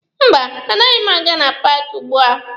Mba, anaghị m aga na paaki ugbua.